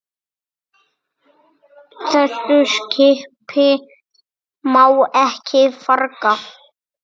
Þessu skipi má ekki farga.